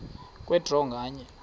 kwe draw nganye